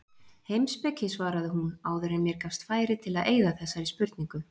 Heimspeki svaraði hún, áður en mér gafst færi til að eyða þessari spurningu.